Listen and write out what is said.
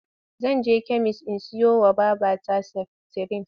Zan je kemis in siyowa wa babata seftirin.